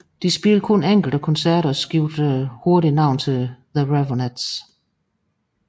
De spillede kun enkelte koncerter og skiftede hurtigt navn til The Raveonettes